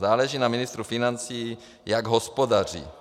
Záleží na ministru financí, jak hospodaří.